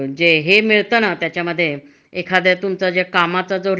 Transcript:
उदाहरणार्थ शेती. शेतीमधे अस ए,